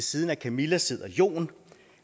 siden af camilla sidder jon